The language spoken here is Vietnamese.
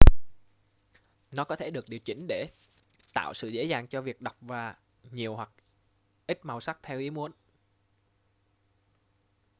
nó có thể được điều chỉnh để tạo sự dễ dàng cho việc đọc và nhiều hoặc ít màu sắc theo ý muốn